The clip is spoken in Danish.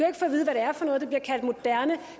moderne